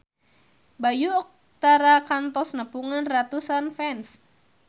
Bayu Octara kantos nepungan ratusan fans